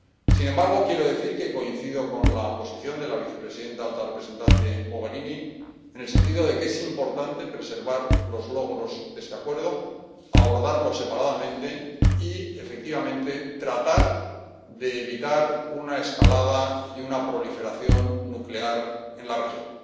Sin embargo, quiero decir que coincido con la posición de la vicepresidenta y alta representante Mogherini en el sentido de que es importante preservar los logros de este acuerdo, abordarlo separadamente y, efectivamente, tratar de evitar la proliferación nuclear en la región.